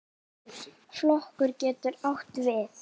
Flokkur getur átt við